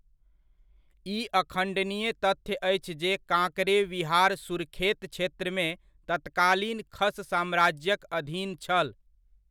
ई अखण्डनीय तथ्य अछि जे कांकरे विहार सुरखेत क्षेत्रमे तत्कालीन खश साम्राज्यक अधीन छल।